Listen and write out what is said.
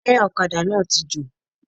Táyà òkadà náà ti jò